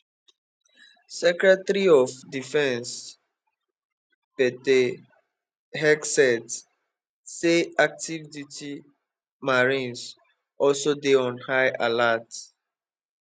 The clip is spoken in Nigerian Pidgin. secretary of defence pete hegseth say active duty marines also dey on high alert